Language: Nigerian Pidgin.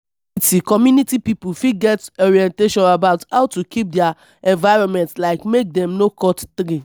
community community pipo fit get orientation about how to keep their environment like make dem no cut tree